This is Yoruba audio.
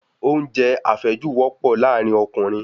Oúnjẹ àfẹ́jù wọ́pọ̀ láàrin Ọkùnrin